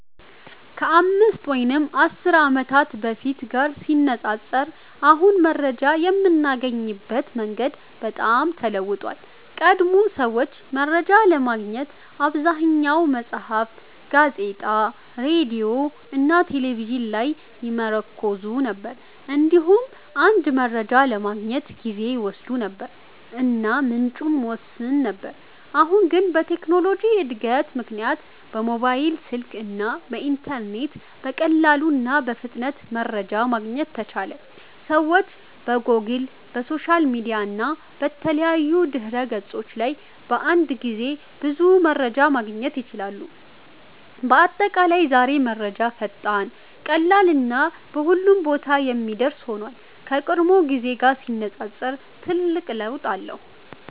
ከ5 ወይም 10 ዓመት በፊት ጋር ሲነፃፀር አሁን መረጃ የምናገኝበት መንገድ በጣም ተለውጧል። ቀድሞ ሰዎች መረጃ ለማግኘት በአብዛኛው መጽሐፍት፣ ጋዜጣ፣ ሬዲዮ እና ቴሌቪዥን ላይ ይመርኩዙ ነበር። እንዲሁም አንድ መረጃ ለማግኘት ጊዜ ይወስድ ነበር እና ምንጩም ውስን ነበር። አሁን ግን በቴክኖሎጂ እድገት ምክንያት በሞባይል ስልክ እና በኢንተርኔት በቀላሉ እና በፍጥነት መረጃ ማግኘት ተቻለ። ሰዎች በጎግል፣ በሶሻል ሚዲያ እና በተለያዩ ድህረ ገጾች ላይ በአንድ ጊዜ ብዙ መረጃ ማግኘት ይችላሉ። በአጠቃላይ ዛሬ መረጃ ፈጣን፣ ቀላል እና በሁሉም ቦታ የሚደርስ ሆኗል፤ ከቀድሞው ጊዜ ጋር ሲነፃፀር ትልቅ ለውጥ አለ።